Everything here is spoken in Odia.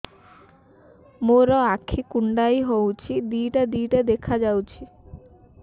ମୋର ଆଖି କୁଣ୍ଡାଇ ହଉଛି ଦିଇଟା ଦିଇଟା ଦେଖା ଯାଉଛି